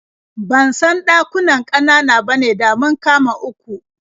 Ban san ɗakunan ƙanana bane, da mun kama uku.